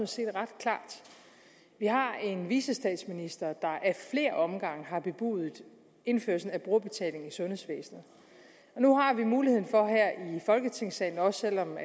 set ret klart vi har en vicestatsminister der ad flere omgange har bebudet indførsel af brugerbetaling i sundhedsvæsenet nu har vi muligheden for her i folketingssalen også selv om